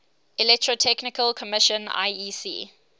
electrotechnical commission iec